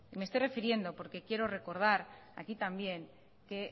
me estoy refiriendo porque quiero recordar aquí también que